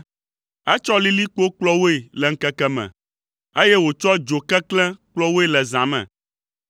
Etsɔ lilikpo kplɔ woe le ŋkeke me, eye wòtsɔ dzo keklẽ kplɔ woe le zã me.